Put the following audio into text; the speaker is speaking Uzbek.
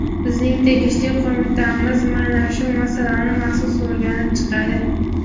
bizning tegishli qo‘mitamiz mana shu masalani maxsus o‘rganib chiqadi.